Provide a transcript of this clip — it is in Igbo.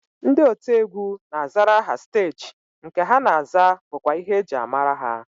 Ndị otiegwu na-azara aha steeji nke ha na-aza bụkwa ihe e ji amara ha